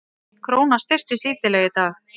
Krónan styrktist lítillega í dag